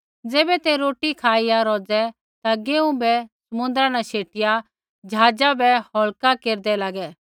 ज़ैबै ते रोटी खाईया रौज़ै ता गेहूँ बै समुदरा न शेटिया ज़हाज़ा बै हल्का केरदै लागै